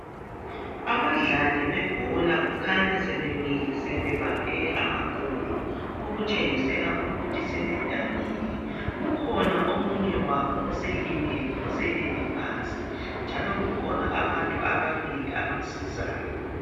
Abadlali bebhola kukhanya sebemile sebebambe amaqolo okutshengisela ukuthi sebedanile. Kukhona omunye wabo oselimele oselele phansi njalo kukhona abantu ababili abamsizayo.